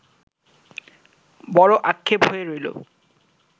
বড় আক্ষেপ হয়ে রইলো